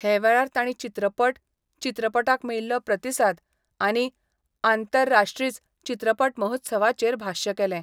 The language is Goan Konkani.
हे वेळार तांणी चित्रपट, चित्रपटाक मेळील्लो प्रतिसाद आनी आंतरराष्ट्रीच चित्रपट महोत्सवाचेर भाश्य केले.